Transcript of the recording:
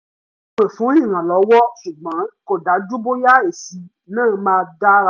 mo pè fún ìrànlọ́wọ́ ṣùgbọ́n kò dájú bóyá èsì náà máa dára